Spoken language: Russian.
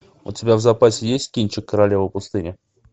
у тебя в запасе есть кинчик королева пустыни